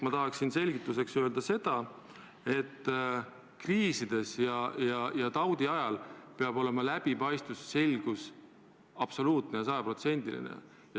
Ma tahaksin selgituseks öelda seda, et kriisi ja taudi ajal peavad läbipaistvus ja selgus olema absoluutsed ja sajaprotsendilised.